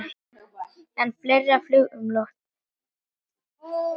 En fleira flaug um loftið.